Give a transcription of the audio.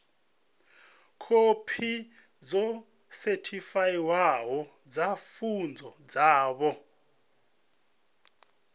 khophi dzo sethifaiwaho dza pfunzo dzavho